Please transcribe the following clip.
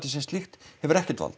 sem slíkt hefur ekkert vald